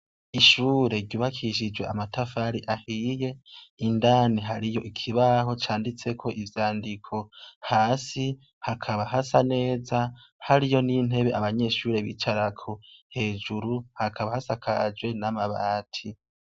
Ishure ryubakishijwe amatafari ahiye. Indani hariyo ikibaho candiko ivyandiko. Hasi hakaba hasa neza hariyo n'intebe abanyeshure bicarako hejuru hakaba hasakajwe n'amabati.